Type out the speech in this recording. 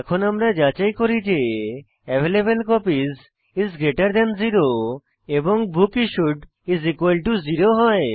এখন আমরা যাচাই করি যে অ্যাভেইলেবলকপিস 0 এবং বুকিশুড 0 হয়